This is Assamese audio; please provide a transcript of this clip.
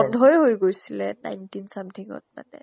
বন্ধই হৈ গৈছিলে nineteen smoothing ত মানে।